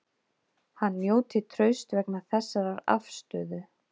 Hann njóti trausts vegna þessarar afstöðu